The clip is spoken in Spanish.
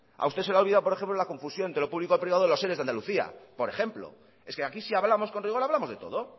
a usted se le ha olvidado por ejemplo la confusión de lo público y lo privado de los eres de andalucía por ejemplo es que aquí se ha hablamos con rigor hablamos de todo